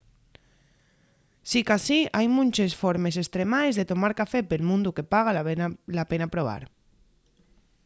sicasí hai munches formes estremaes de tomar café pel mundu que paga la pena probar